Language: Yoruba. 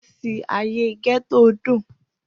Igbesi aye Getto dun.